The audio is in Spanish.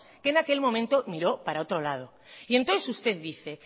que en aquel momento miró para otro lado y entonces usted dice